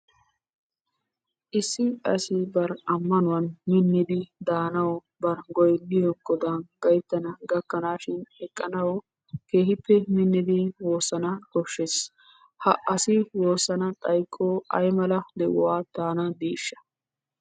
Issi asi bari ammanuwan miniddi daanaw bari goynniyo Godan gayttana gakashin eqqanaw keehippe miniddi woossana koshshees. Ha asi woossana xoykko aymala de'uwaa daana diishsha?